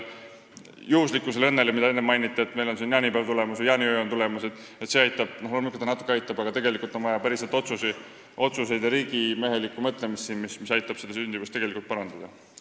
Juhuslikkusest ja õnnest, mida siin enne mainiti – varsti tulevad jaanipäev ja jaaniöö –, on loomulikult natuke abi, aga tegelikult on meil vaja päris otsuseid ja riigimehelikku mõtlemist, mis aitaksid sündimust parandada.